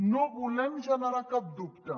no volem generar cap dubte